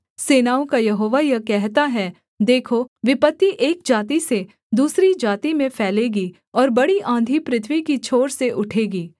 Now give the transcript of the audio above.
सेनाओं का यहोवा यह कहता है देखो विपत्ति एक जाति से दूसरी जाति में फैलेगी और बड़ी आँधी पृथ्वी की छोर से उठेगी